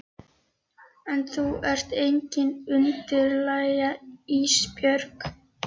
En þú ert engin undirlægja Ísbjörg.